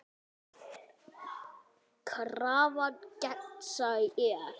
Krafan gegnsæ er.